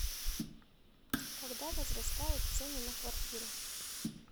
когда возрастают цены на квартиры